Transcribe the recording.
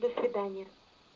до свидания